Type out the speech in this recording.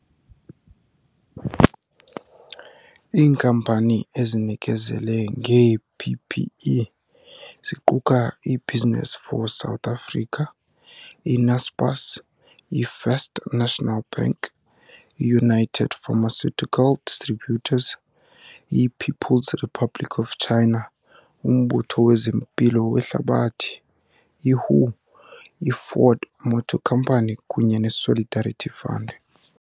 Iinkampani ezinikezele ngee-PPE, ziquka i-Business for South Africa, i-Naspers, i-First National Bank, i-United Pharmaceutical Distributors, i-People's Republic of China, uMbutho wezeMpilo weHlabathi, i-WHO, i-Ford Motor Company kunye ne-Solidarity Fund .